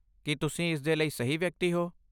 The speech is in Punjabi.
ਕੀ ਤੁਸੀਂ ਇਸਦੇ ਲਈ ਸਹੀ ਵਿਅਕਤੀ ਹੋ?